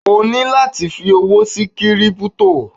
O ní láti fi owó sí Kírípútò.